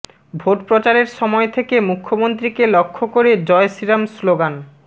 ভোটপ্রচারের সময় থেকে মুখ্যমন্ত্রীকে লক্ষ্য করে জয় শ্রীরাম স্লোগান